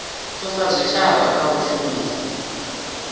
thusa zwitshavha kha u shumisa